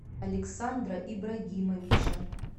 александра ибрагимовича